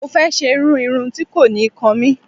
Mo fẹ́ ṣe irú irun tí kò ní kan mí.